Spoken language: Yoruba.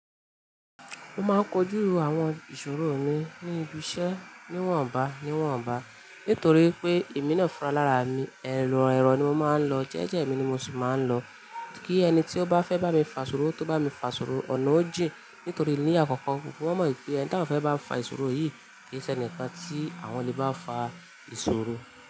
Mo máa ń kojú àwọn ìṣòro mi ní ibi iṣẹ́ níwọ̀nba níwọ̀nba. Nítorí pé èmi náà fún alára mi, ẹ̀rọ ẹ̀rọ ni mo máa ń lọ, jẹ́jẹ́ mi ni mo sì máa ń lọ. Kí ẹni tí ó bá fẹ́ bá mi fa ìṣòro, tó bá mi fa ìṣòro ọ̀nà ó jìn. Nítorí ní àkọ́kọ́, gbogbo wọn mọ̀ wipé ẹni ta wọ́n fẹ́ bá fa ìṣòro yìí kì ń ṣe ẹnìkan tí àwọn lè bá fa ìṣòro.